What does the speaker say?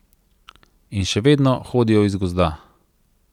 In še vedno hodijo iz gozda.